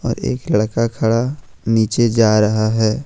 एक लड़का खड़ा नीचे जा रहा है।